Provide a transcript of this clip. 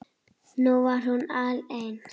Nú var hún alein.